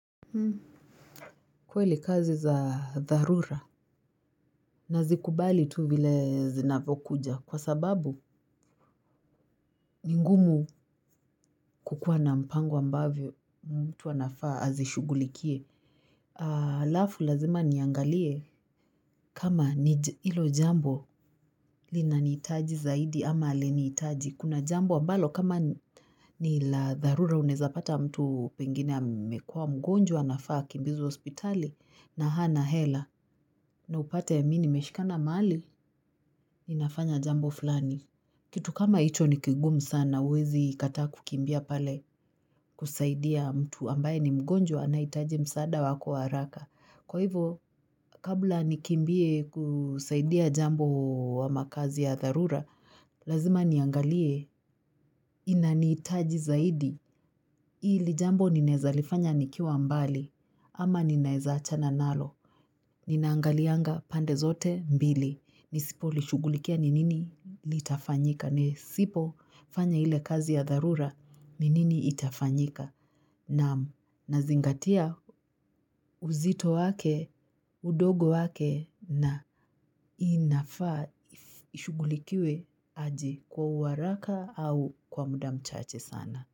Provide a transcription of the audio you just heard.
Kwele kazi za dharura na zikubali tu bile zinavokuja kwa sababu mingumu kukua na mpango ambavyo mtu wanafaa azishugulikie. Alafu lazima niangalie kama ilo jambo linanitaji zaidi ama alenitaji. Kuna jambo ambalo kama ni la dharura unaezapata mtu pengine amekua mgonjwa nafaa kimbizu ospitali na hana hela na upate ya mini meshikana maali. Ninafanya jambo fulani. Kitu kama ito nikigumu sana, wezi ikata kukimbia pale kusaidia mtu ambaye ni mgonjwa anaitaji msada wako waraka. Kwa hivyo, kabla nikimbie kusaidia jambo wa makazi ya tharura, lazima niangalie inanitaji zaidi. Ili jambo ninaezalifanya nikiwa mbali, ama ninaezacha na nalo, ninaangalianga pandezote mbili, nisipo lishugulikia ni nini litafanyika, nisipo fanya ile kazi ya dharura ni nini itafanyika, na zingatia uzito wake, udogo wake, na inafaa ishugulikiwe aji kwa uwaraka au kwa muda mchache sana.